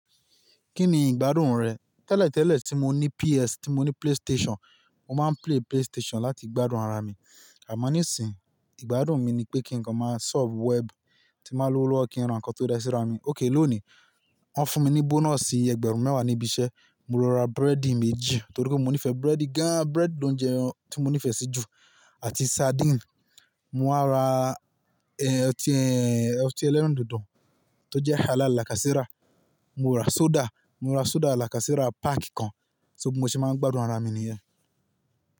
Kí ni ìgbádùn rẹ̀? Tẹ́lẹ̀tẹ́lẹ̀ tí mo ní PS, tí mo ní PlayStation, mo máa ń play PlayStation láti gbádùn ara mi. Àmọ́ ní sì, ìgbádùn mi ni pé kí n kan máa surf web, tí máa lọ lọ́wọ́ kí n ra nnkan tó da síra mi. Okay lónìí, wọ́n fún mi ní bonus ẹgbẹ̀rún mẹ́wàá níbi iṣẹ́, mo lọ ra búrẹ́dì méjì, torí pé mo nífẹ̀ẹ́ búrẹ́dì gan. Búrẹ́dì ni oúnjẹ tí mo nífẹ̀ẹ́ sí jù, àti sardine. Mo á ra, ọtí ẹlẹ́rìndòdò tó jẹ́ halal lákàséra, mo ra soda, mo ra soda làkàséra páàkì kan. So bí mó ṣe máa ń gbádùn ara mi nìyẹn.